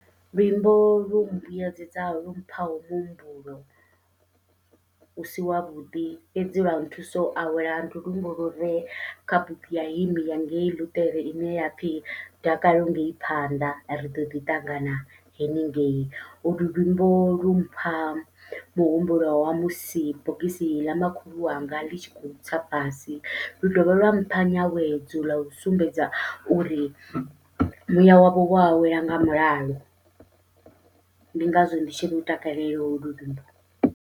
Luimbo lu mbuyedzedzaho lu mphaho muhumbulo usi wavhuḓi fhedzi lwa nthusa u awela, ndi luimbo lure kha bugu ya hym ya ngei ḽuṱere ine yapfhi dakalo ngei phanḓa ri ḓoḓi ṱangana haningei, ulu luimbo lumpha muhumbulo wa musi bogisi ḽa makhulu wanga ḽi tshi khou tsa fhasi, lu dovha lwa mpha nyawedzo ḽau sumbedza uri muya wavho wo awela nga mulalo, ndi ngazwo ndi tshi lu takalela holu luimbo.